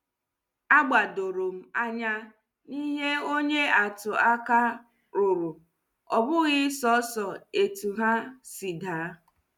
A gbadorom anya n'ihe onye atụ aka ruru, obughi soso etu ha si daa.